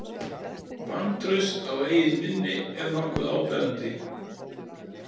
Vantraust á eigið minni er nokkuð áberandi.